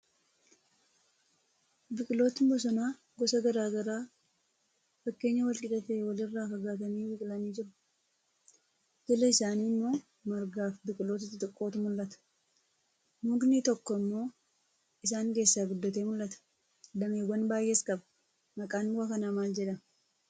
Biqilootni bosonaa gosa garaa garaa fageenya wal qixa ta'e walirraa fagaatanii biqilanii jiru. Jala isaanii immoo margaafi biqiloota xixiqqootu mul'ata. Mukni tokko immoo isaan keessaa guddatee mul'ata. Dameewwan baay'ees qaba. Maqaan muka kanaa maal jedhama?